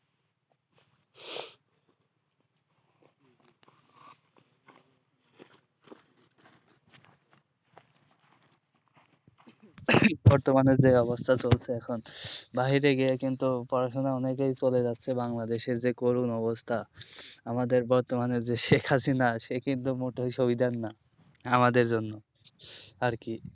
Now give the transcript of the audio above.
বর্তমানের যে অবস্থা চলছে এখন বাইরে গিয়ে কিন্তু পড়াশোনা অনেকেই চলে যাচ্ছে বাংলাদেশের যে করুন অবস্থা আমাদের বর্তমানে যে শেখ হাসিনা সে কিন্তু মোটেই সুবিধার না আমাদের জন্য আরকি